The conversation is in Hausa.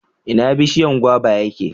ina bishiyan gwaba ya ke?